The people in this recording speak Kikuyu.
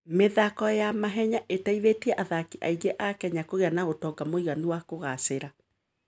Mĩthako ya mahenya ĩteithĩtie athaki aingĩ a Kenya kũgĩa na ũtonga mũiganu na kũgaacĩra.